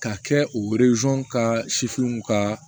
Ka kɛ u ka ka